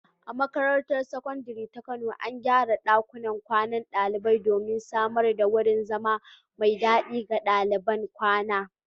A makarantar Sakandare ta Kano, an gyara ɗakunan kwanan ɗalibai domin samar da wurin zama mai dadi ga daliban kwana.